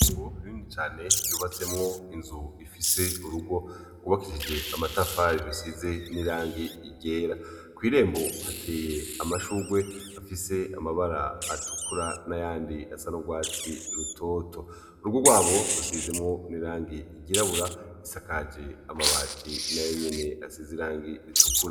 Kngo bindi cane ryubatsemwo inzu ifise urugo gubakishije amatafari ijusize n'ilange igera kw'irembo hateye amashugwe afise amabara atukura na yandi asan'urwatsi rutoto urugo rwabo rusizemwo n'irange igirabura isakaje amabati nayoe nyene asize irangi bitukura.